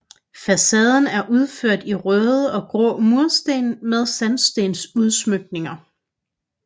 Facaden er udført i røde og grå mursten med sandstensudsmykninger